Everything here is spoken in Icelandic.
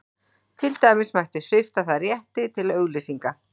Til dæmis mætti svipta það rétti til auglýsinga.